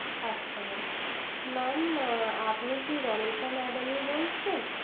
আচ্ছা mam mam আপনি কি রণিতা madam বলছেন